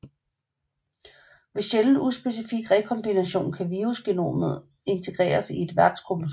Ved sjælden uspecifik rekombination kan virusgenomet integreres i et værtskromosom